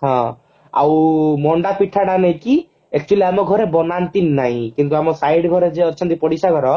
ହଁ ଆଉ ମଣ୍ଡା ପିଠା ଟା ନୁହଁ କି ଏକ୍ଚୁୟାଲି ଆମ ଘରେ ବନାନ୍ତି ନାହିଁ କିନ୍ତୁ ଆମ side ଘରେ ଯିଏ ଅଛନ୍ତି ପଡିଶା ଘର